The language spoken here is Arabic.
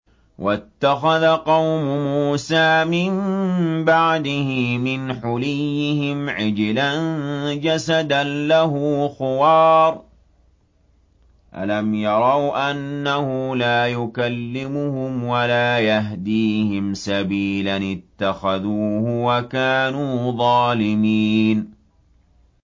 وَاتَّخَذَ قَوْمُ مُوسَىٰ مِن بَعْدِهِ مِنْ حُلِيِّهِمْ عِجْلًا جَسَدًا لَّهُ خُوَارٌ ۚ أَلَمْ يَرَوْا أَنَّهُ لَا يُكَلِّمُهُمْ وَلَا يَهْدِيهِمْ سَبِيلًا ۘ اتَّخَذُوهُ وَكَانُوا ظَالِمِينَ